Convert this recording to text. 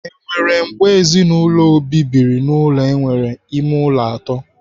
Enwere mgbe ezinụlọ Obi ha biri n'ụlọ nwere ime ụlọ atọ?